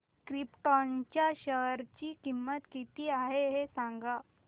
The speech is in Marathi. क्रिप्टॉन च्या शेअर ची किंमत किती आहे हे सांगा